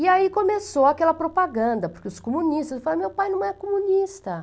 E aí começou aquela propaganda, porque os comunistas falaram, meu pai não é comunista.